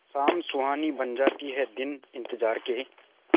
शाम सुहानी बन जाते हैं दिन इंतजार के